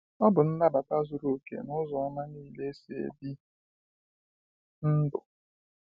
O bụ nnabata zuru okè n'ụzọ oma niile esi ebi ndụ.